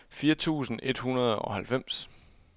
fire tusind et hundrede og halvfems